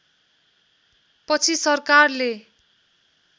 पछि सरकारले